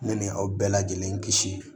Ne ni aw bɛɛ lajɛlen kisi